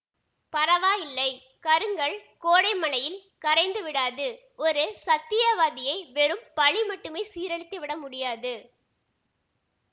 பரவாயில்லை கருங்கல் கோடை மழையில் கரைந்து விடாது ஒரு சத்தியவாதியை வெறும் பழி மட்டுமே சீரழித்து விட முடியாது